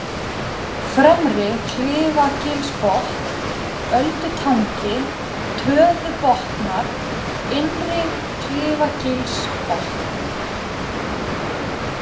Fremri-Klifagilsbotn, Öldutangi, Töðubotnar, Innri-Klifagilsbotn